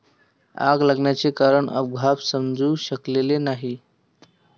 आग लागण्याचे कारण अद्याप समजू शकलेले नाही.